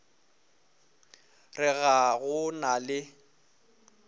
re ga go na le